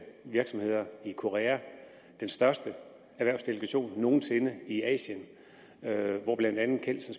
virksomheder i korea den største erhvervsdelegation nogen sinde i asien hvor blandt andet kelsen